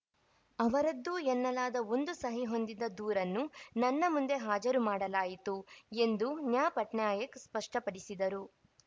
ಅವರದ್ದು ಎನ್ನಲಾದ ಒಂದು ಸಹಿ ಹೊಂದಿದ ದೂರನ್ನು ನನ್ನ ಮುಂದೆ ಹಾಜರು ಮಾಡಲಾಯಿತು ಎಂದೂ ನ್ಯಾ ಪಟ್ನಾಯಕ್‌ ಸ್ಪಷ್ಟಪಡಿಸಿದರು